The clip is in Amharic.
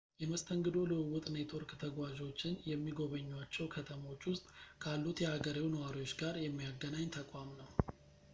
የመስተንግዶ ልውውጥ ኔትወርክ ተጓዦችን የሚጎበኙዋቸው ከተሞች ውስጥ ካሉት የሀገሬው ነዋሪዎች ጋር የሚያገናኝ ተቋም ነው